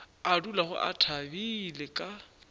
a dulago a thabile ka